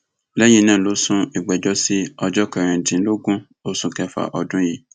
lẹyìn náà ló sún ìgbẹjọ sí ọjọ kẹrìndínlógún oṣù kẹfà ọdún yìí